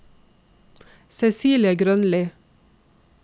Cecilie Grønli